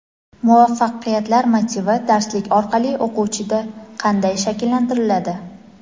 Muvaffaqiyatlar motivi darslik orqali o‘quvchida qanday shakllantiriladi?.